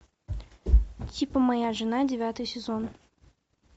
типа моя жена девятый сезон